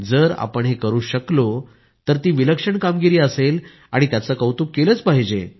जर आपण हे करु शकलो तर ती विलक्षण कामगिरी असेल आणि त्याचे कौतूक केलंच पाहिजे